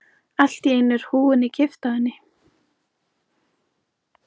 Allt í einu er húfunni kippt af henni!